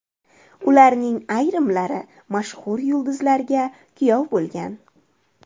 Ularning ayrimlari mashhur yulduzlarga kuyov bo‘lgan.